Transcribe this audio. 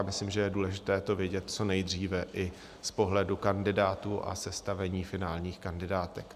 A myslím, že je důležité to vědět co nejdříve i z pohledu kandidátů a sestavení finálních kandidátek.